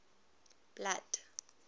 blood